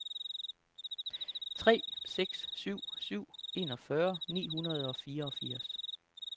tre seks syv syv enogfyrre ni hundrede og fireogfirs